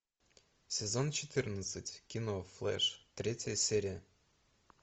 сезон четырнадцать кино флэш третья серия